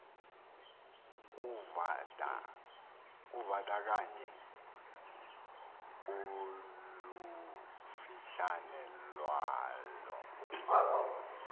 kuvandakanye olufutshane lwalo